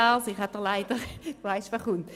Lars Guggisberg, Sie wissen bereits, was folgt.